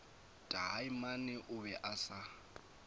taamane o be a sa